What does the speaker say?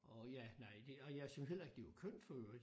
Og ja nej det jeg syntes heller ikke det var kønt for øvrigt